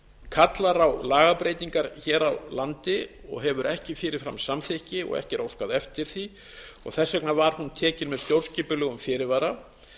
kallar á lagabreytingar hér á landi og hefur ekki fyrirframsamþykki og ekki er óskað eftir því og þess vegna var hún tekin með stjórnskipulegum fyrirvara